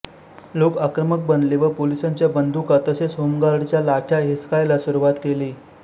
लोक आक्रमक बनले व पोलीसांच्या बंदुका तसेच होमगार्डच्या लाठ्या हिसकायला सुरुवात केली